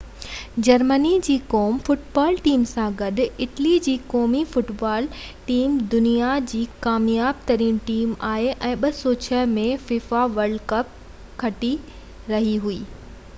Germany جي قومي football team سان گڏ اٽلي جي قومي فٽبال ٽيم دنيا جي ٻي ڪامياب ترين ٽيم آهي ۽ 2006 ۾ فيفا ورلڊ ڪپ ٿي رهي